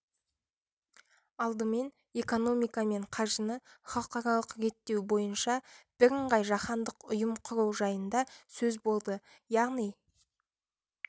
алдымен экономика мен қаржыны халықаралық реттеу бойынша бірыңғай жаһандық ұйым құру жайында сөз болды яғни